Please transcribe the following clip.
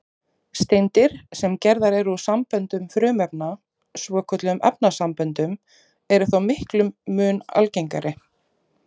Steindir, sem gerðar eru úr samböndum frumefna, svokölluðum efnasamböndum, eru þó miklum mun algengari.